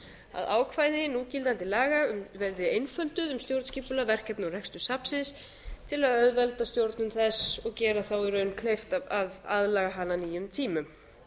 að ákvæði núgildandi laga verði einfölduð um stjórnskipulag verkefni og rekstur safnsins til að auðvelda stjórnun þess og gera þá í raun kleift að aðlaga hana að nýjum tímum